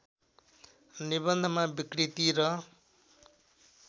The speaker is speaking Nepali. निबन्धमा विकृति र